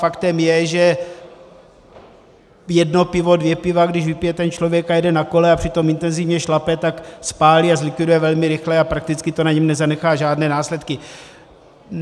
Faktem je, že jedno pivo, dvě piva když vypije ten člověk a jede na kole a přitom intenzivně šlape, tak spálí a zlikviduje velmi rychle a prakticky to na něm nezanechá žádné následky.